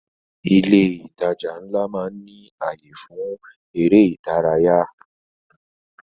Ilé ìtajà ńlá máa ń ní ayé fún èrè ìdárayá